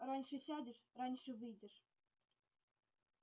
раньше сядешь раньше выйдешь